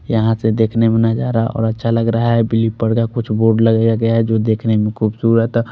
यहाँ से देखने में नज़ारा और अच्छा लग रहा है ब्लू कलर कुछ बोर्ड लगाया गया है जो देखने में खुबसूरत--